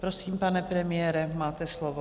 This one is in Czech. Prosím, pane premiére, máte slovo.